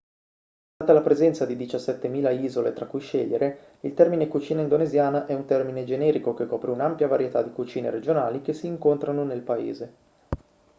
data la presenza di 17.000 isole tra cui scegliere il termine cucina indonesiana è un termine generico che copre un'ampia varietà di cucine regionali che si incontrano nel paese